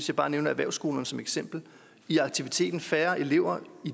jeg bare erhvervsskolerne som et eksempel i aktiviteten altså færre elever